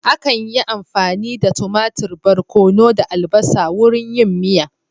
Akan yi amfani da tumatur, barkono da albasa wurin yin miya